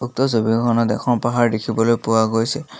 উক্ত ছবিখনত এখন পাহাৰ দেখিবলৈ পোৱা গৈছে।